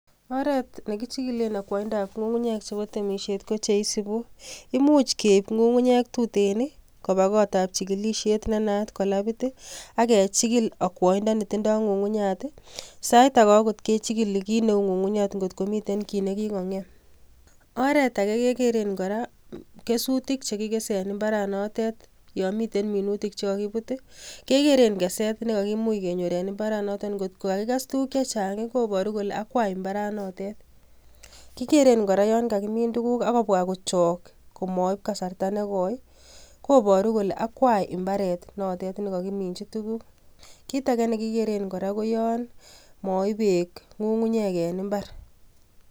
Oret nekichigilen okwoindab ngungunyek chebo temisiet kochisibu; imuch keib ngungunyek tuten koba kot ab chigilisiet nenaat ko labit I ak kechigil akwoindoo netindo ngungunyat I,sausage okot kechigili kit neu ngungunyat kot kominten kit nekikongem. Oretage kekeren kora kesuutik chekikese en imbaranotet yon miten minutiik chekokibuut kegeeren keset nekakimuch kenyoor en imbaranoton angot KO kakikees tuguuk chechang koboru kole akwai imbaranotet, kigeren kora yon kakimin tuguuk ak kobwa kochok komoib kasarta nekoi koboru kole akwai imbaret notet nekokiminyii tuguuk, kitagge nekikeren kora ko yon moib beek ngungunyek en imbaar